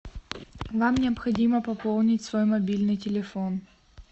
вам необходимо пополнить свой мобильный телефон